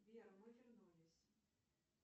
сбер мы вернулись